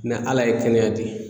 Ala ye kɛnɛya di